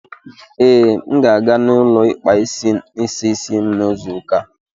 Ee, M ga-aga ụlọ ikpa isi ịsa isi m n'izu ụka a.